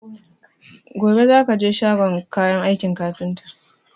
Gobe za ka je shagon kayan aikin kafinta!